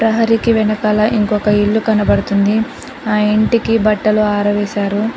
ప్రహరికి వెనకాల ఇంకొక ఇల్లు కనబడుతుంది ఆ ఇంటికి బట్టలు ఆరవేశారు.